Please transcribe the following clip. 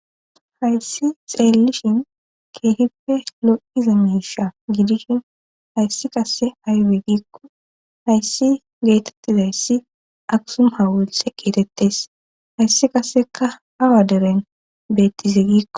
hayssi xeellishin keehippe lo7iza miisha gidishin hayssi qasse aybe giikko hayssi geetettidayssi aksum hawulthe geetettes hayssi qasekka awa deren beettize giikko.